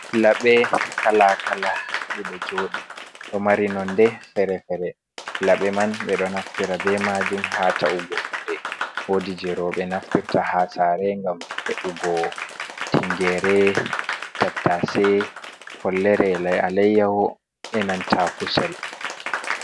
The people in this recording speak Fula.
Laɓe kala-kala ɗiɗo joɗi ɗo mari nonde feere-feere. Laɓe man ɓe ɗo naftira be majum ha ta’ugo kuuɗe. Woodi je rowɓe naftirta ha sare ngam e’ugo tingere, tattace, follere e a leyyawo, e nanta kusel.